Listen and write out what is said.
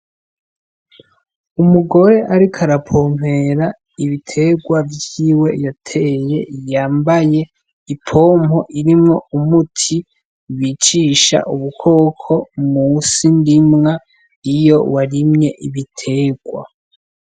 Umugore ariko arapompera ibitegwa vyiwe yateye, yambaye ipompo irimwo umuti bicisha ubukoko mw'isi ndimwa iyo warimye ibitegwa.